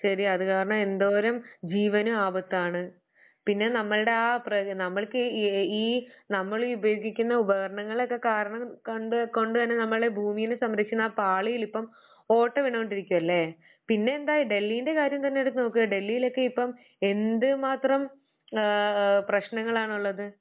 ശരിയാ അത് കാരണം എന്തോരം ജീവനും ആപത്താണ്. പിന്നെ നമ്മൾടെ ആ പ്ര നമ്മൾക്കീ ഈ നമ്മള് ഉപയോഗിക്കുന്ന ഉപകരണങ്ങളോക്കെ കാരണം കണ്ട് കൊണ്ടുതന്നെ ഭൂമിയെ സംരക്ഷിക്കുന്ന ആ പാളികളിപ്പം ഓട്ടവീണു കൊണ്ടിരിക്കുകയല്ലേ? പിന്നെന്താ ഡെല്ലിന്റെ കാര്യമെടുത്തു നോക്ക് ഡെല്ലിയിലൊക്കെ ഇപ്പം എന്തുമാത്രം ആഹ് പ്രശ്നങ്ങളാണുള്ളത്